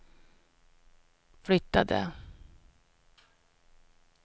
flyttade